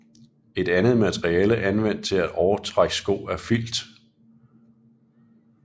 Et andet materiale anvendt til overtrækssko er Filt